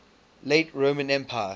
late roman empire